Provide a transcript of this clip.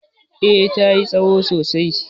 eh ta yi tsaho sosai